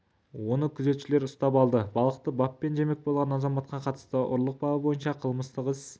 оны күзетшілер ұстап алды балықты баппен жемек болған азаматқа қатысты ұрлық бабы бойынша қылмыстық іс